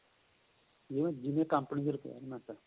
ਜਿਵੇਂ ਕੰਪਨੀ ਦੀ requirement ਏ